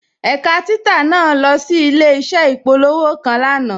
Ẹ̀kà títà naà lọ sí ilẹ̀-iṣẹ̀ ìpòlọ̀wọ́̀ kan lánà.